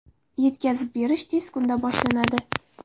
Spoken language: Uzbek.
Yetkazib berish tez kunda boshlanadi.